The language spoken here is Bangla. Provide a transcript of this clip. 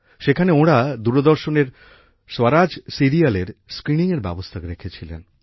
সেখানে ওঁরা দূরদর্শনের স্বরাজ সিরিয়ালের স্ক্রীনিংয়ের ব্যবস্থা রেখেছিলেন